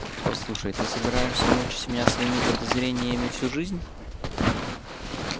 послушай ты собираешься мучить меня своими подозрениями всю жизнь